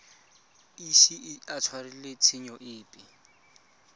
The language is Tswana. ise a tshwarelwe tshenyo epe